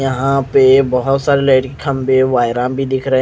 यह पे बोहोत सारे लेडी खम्बे वाईरा भी दिख रहे है।